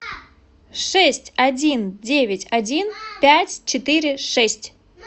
шесть один девять один пять четыре шесть